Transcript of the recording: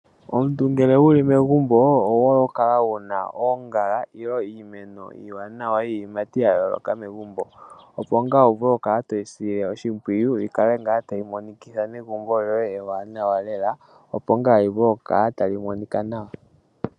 Omuntu ngele wuli megumbo owuhole okukala wuna oongala nenge iimeno iiwanawa iiyimati yayooloka megumbo opo ngaa wuvule okukala toyi sile oshimpwiyu yikale ngaa tayi imonikila negumbo loye likale tali monika nawa.